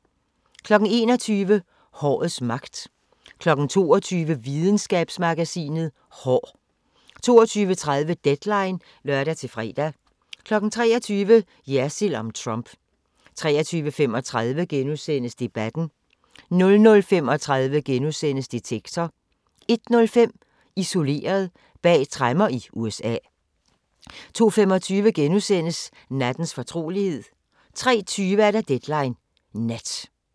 21:00: Hårets magt 22:00: Videnskabsmagasinet: Hår 22:30: Deadline (lør-fre) 23:00: Jersild om Trump 23:35: Debatten * 00:35: Detektor * 01:05: Isoleret – bag tremmer i USA 02:25: Nattens fortrolighed * 03:20: Deadline Nat